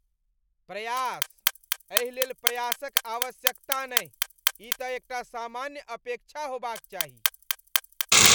प्रयास? एहिलेल प्रयासक आवश्यकता नहि, ई तँ एकटा सामान्य अपेक्षा होबाक चाही।